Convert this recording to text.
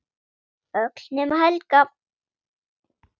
Öll nema Helga.